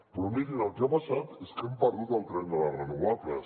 però mirin el que ha passat és que hem perdut el tren de les renovables